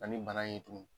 Ani bana ye tugunni